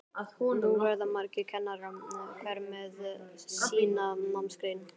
Nú verða margir kennarar, hver með sína námsgrein.